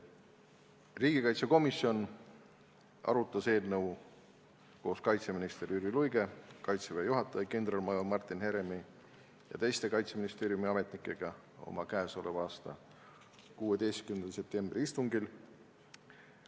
Riigikaitsekomisjon arutas eelnõu koos kaitseminister Jüri Luige, Kaitseväe juhataja kindralmajor Martin Heremi ja teiste Kaitseministeeriumi ametnikega oma k.a 16. septembri istungil.